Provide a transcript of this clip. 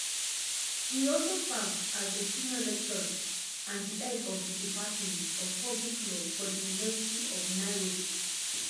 e also serve as a senior lecturer and di head head of di department of public law for di university of nairobi